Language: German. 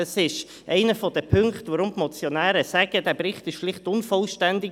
Das ist einer der Punkte, weshalb die Motionäre sagen, der Bericht sei unvollständig.